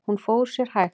Hún fór sér hægt.